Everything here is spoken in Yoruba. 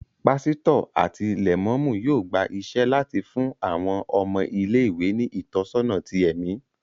Pásítọ̀ àti Lẹ̀mọ́mú yóò gba iṣẹ́ láti fún àwọn ọmọ ilé-ìwé ní ìtọ́sọ́nà tí ẹmi